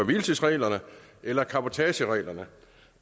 hvile tids reglerne eller cabotagereglerne